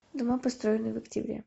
дома построенные в октябре